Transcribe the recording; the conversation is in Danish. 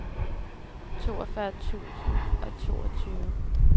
toogfyrre tusind og toogtyve